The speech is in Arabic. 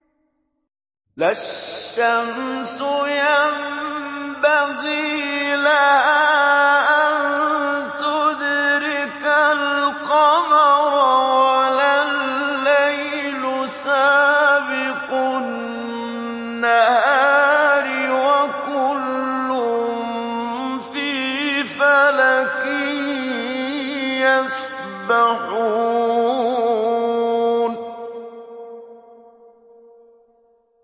لَا الشَّمْسُ يَنبَغِي لَهَا أَن تُدْرِكَ الْقَمَرَ وَلَا اللَّيْلُ سَابِقُ النَّهَارِ ۚ وَكُلٌّ فِي فَلَكٍ يَسْبَحُونَ